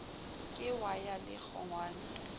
ke wa ya le kgongwana